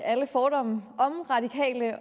alle fordomme